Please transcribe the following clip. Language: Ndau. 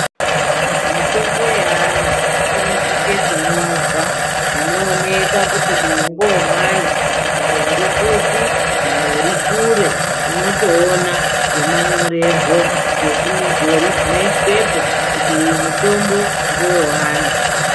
Mitombo ye ana ino sise kunyorwa zvino oneka kuti uyu ngewe mwana dai uri kupi dai uri kure unotoona ngemanyorerwo nge zvimudhuri zvino iswepo kuti uyu mutombo ndewe ana.